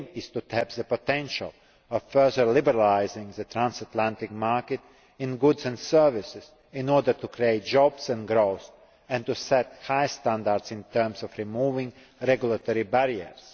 aim is to tap the potential of further liberalising the transatlantic market in goods and services in order to create jobs and growth, and to set high standards in terms of removing regulatory barriers.